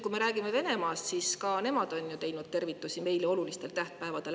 Kui me räägime Venemaast, siis ka nemad on teinud tervitusi meile olulistel tähtpäevadel.